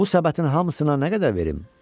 Bu səbətin hamısına nə qədər verim?